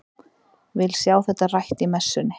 Vil sjá þetta rætt í messunni!